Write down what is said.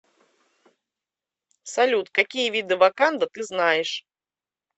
салют какие виды ваканда ты знаешь